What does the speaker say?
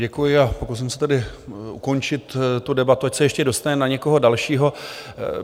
Děkuji a pokusím se tedy ukončit tu debatu, ať se ještě dostane na někoho dalšího.